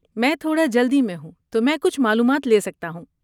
میں تھوڑا جلدی میں ہوں تو میں کچھ معلومات لے سکتا ہوں۔